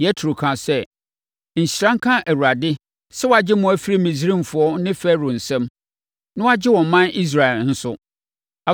Yetro kaa sɛ, “Nhyira nka Awurade sɛ wagye mo afiri Misraimfoɔ ne Farao nsam, na wagye ɔman Israel nso.